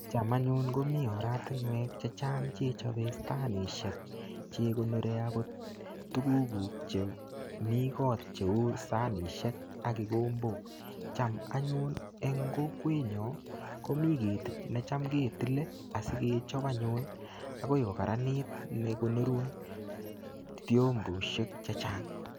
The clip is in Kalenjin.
Cham anyun komi oratinwek che chang che chope stanisiek che gonore agot tugukuk che mi kot cheu sanisiek ak kigombok. Cham anyun eng kokwenyo komi kit ne cham ketile asigechop anyun agoi ko kararanit ne konorun fiomboisiek che chang.